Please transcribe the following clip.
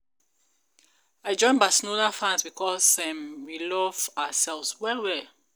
I join Barcelona fans because um we love ourselves well well